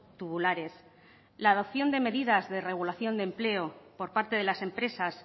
tubulares la adopción de medidas de regulación de empleo por parte de las empresas